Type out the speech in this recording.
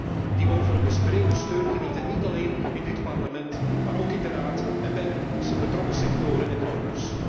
Twee pakketten, die overigens brede steun genieten, niet alleen in dit Parlement, maar ook in de Raad en bij de betrokken sectoren en de burgers.